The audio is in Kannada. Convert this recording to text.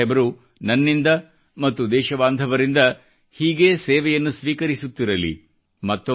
ಗುರು ಸಾಹೇಬರು ನನ್ನಿಂದ ಮತ್ತು ದೇಶ ಬಾಂಧವರಿಂದ ಹೀಗೆ ಸೇವೆಯನ್ನು ಸ್ವೀಕರಿಸುತ್ತಿರಲಿ